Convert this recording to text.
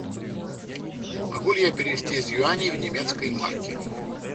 могу ли я перевести из юаней в немецкие марки